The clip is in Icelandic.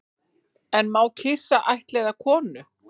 En má kisa ættleiða konu